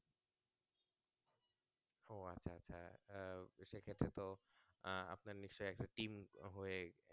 আহ সেক্ষেত্রে তো আপনার নিশ্চই একটা team হয়ে